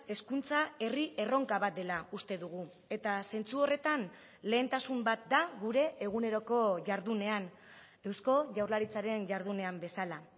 hezkuntza herri erronka bat dela uste dugu eta zentzu horretan lehentasun bat da gure eguneroko jardunean eusko jaurlaritzaren jardunean bezala